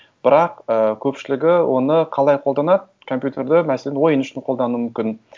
бірақ і көпшілігі оны қалай қолданады компьютерді мәселен ойын үшін қолдану мүмкін